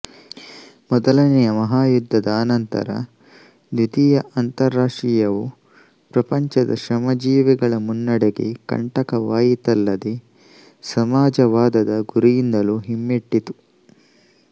ಮೊದಲನೆಯ ಮಹಾಯುದ್ಧದ ಅನಂತರ ದ್ವಿತೀಯ ಅಂತಾರಾಷ್ಟ್ರೀಯವು ಪ್ರಪಂಚದ ಶ್ರಮಜೀವಿಗಳ ಮುನ್ನಡೆಗೆ ಕಂಟಕವಾಯಿತಲ್ಲದೆ ಸಮಾಜವಾದದ ಗುರಿಯಿಂದಲೂ ಹಿಮ್ಮೆಟ್ಟಿತು